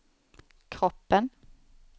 kroppen